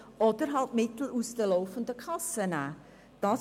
Oder dass man eben Mittel aus der laufenden Kasse nehmen würde.